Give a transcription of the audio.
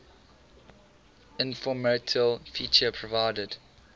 informational feature provided